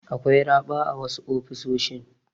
Akwai raɓa a wasu ofisoshin.